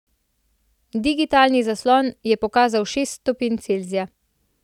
Digitalni zaslon je pokazal šest stopinj Celzija.